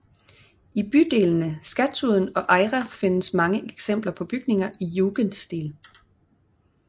I bydelene Skatudden og Eira findes mange eksempler på bygninger i jugendstil